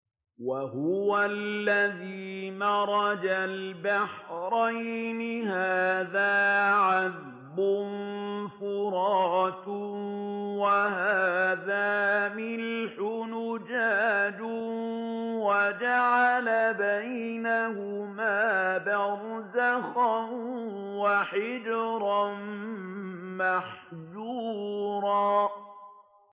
۞ وَهُوَ الَّذِي مَرَجَ الْبَحْرَيْنِ هَٰذَا عَذْبٌ فُرَاتٌ وَهَٰذَا مِلْحٌ أُجَاجٌ وَجَعَلَ بَيْنَهُمَا بَرْزَخًا وَحِجْرًا مَّحْجُورًا